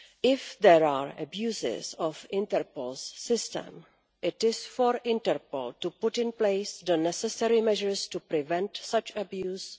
If there are abuses of Interpol's system, it is for Interpol to put in place the necessary measures to prevent such abuse.